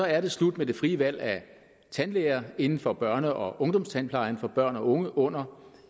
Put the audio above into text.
er det slut med det frie valg af tandlæger inden for børne og ungdomstandplejen for børn og unge under